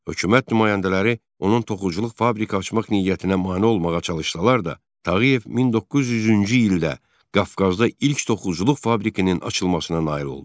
Hökumət nümayəndələri onun toxuculuq fabriki açmaq niyyətinə mane olmağa çalışsalar da, Tağıyev 1900-cü ildə Qafqazda ilk toxuculuq fabrikasının açılmasına nail oldu.